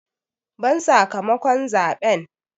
Ban sakamakon zaɓen!